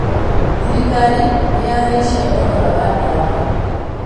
Thirikiri nĩyahaicia thogora wa ndawa